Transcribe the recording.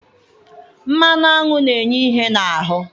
Mmanụ aṅụ na-enye ihe n'ahụ